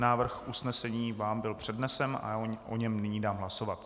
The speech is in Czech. Návrh usnesení vám byl přednesen a já o něm nyní dám hlasovat.